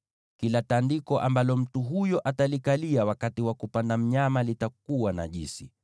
“ ‘Kila tandiko ambalo mtu huyo atalikalia wakati wa kupanda mnyama litakuwa najisi,